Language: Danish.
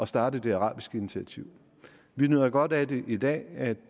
starte det arabiske initiativ vi nyder godt af i dag at